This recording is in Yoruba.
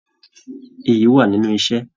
Ìyí wà nínú iṣẹ.